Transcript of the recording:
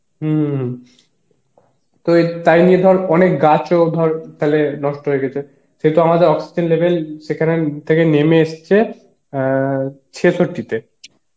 হম হম তো এ তাই নিয়েও ধর অনেক গাছ ও ধর তাহলে নষ্ট হয়ে গেছে সে তো আমাদের oxygen level সেখানে থেকে নেমে এসেছে অ্যাঁ চেসট্টি তে